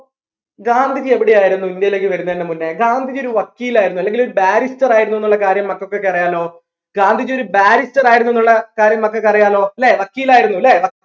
ഗാന്ധിജി എവിടെ ആയിരുന്നു ഇന്ത്യയിലേക്ക് വരുന്നതിന് മുന്നേ ഗാന്ധിജി ഒരു വക്കീൽ ആയിരുന്നു അല്ലെങ്കിൽ ഒരു barrister ആയിരുന്നു എന്നുള്ള കാര്യം മക്കക്കൊക്കെ അറിയാലോ ഗാന്ധിജി ഒരു barrister ആയിരുന്നു എന്നുള്ള കാര്യം മക്കക്ക് അറിയാലോ ല്ലേ വക്കീലായിരുന്നു ല്ലേ വ